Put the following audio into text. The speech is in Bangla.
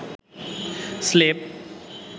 স্লেভ